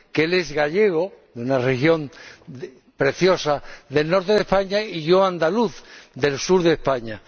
Él es gallego, una región preciosa del norte de España, y yo, andaluz, del sur de España.